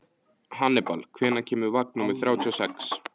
Hannibal, hvenær kemur vagn númer þrjátíu og sex?